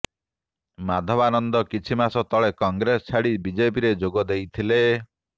ମାଧବାନନ୍ଦ କିଛି ମାସ ତଳେ କଂଗ୍ରେସ ଛାଡ଼ି ବିଜେପିରେ ଯୋଗଦେଇଥିଲେ